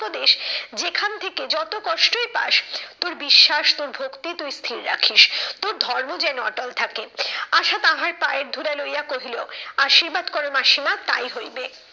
উপদেশ যেখান থেকে যত কষ্টই পাস তোর বিশ্বাস, তোর ভক্তি তুই স্থির রাখিস। তোর ধর্ম যেন অটল থাকে। আশা তাহার পায়ের ধূলা লইয়া কহিল, আশীর্বাদ করো মাসিমা তাই হইবে।